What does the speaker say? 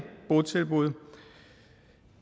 botilbud